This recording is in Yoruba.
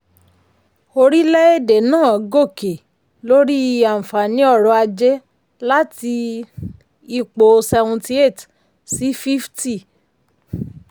orílẹ̀-èdè náà gòkè lórí àǹfààní ọ̀rọ̀ ajé láti um ipò seventy eight sí fifty. um